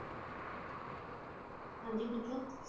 ਹਾਂਜੀ ਪੁੱਛੋ